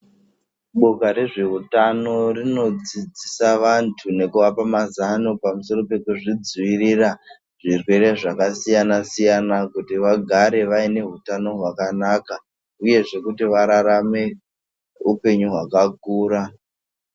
Boka rezveutano rinodzidzisa vanthu nekuvapa mazano pamusoro pekuzvidzivirira zvirwere zvakasiyana-siyana kuti vagare vaine hutano hwakanaka, uyezve kuti vararame upenyu hwakakura.